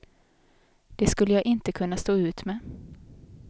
Det skulle jag inte kunna stå ut med.